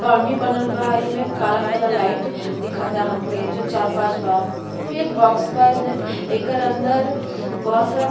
Boundary बनल बा। इमें काला काला लाइट दिखता हमके जो चार पांच बा। फिर एक बॉक्स बा। इसमें एकर अंदर बोहोत सारा --